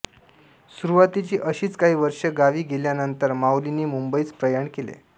सुरूवातीची अशीच काही वर्षे गावी गेल्यानंतर माऊलींनी मुंबईस प्रयाण केले